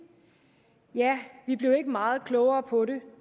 ja vi blev ikke meget klogere på det